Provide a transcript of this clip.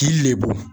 Ji le don